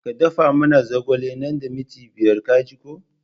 Ka da fa muna zogale nan da minti biyar ka ji ko!